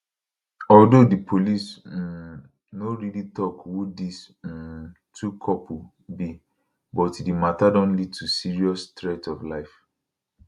although di police um no really tok who dis um two couple be but di matter don lead to serious threat to life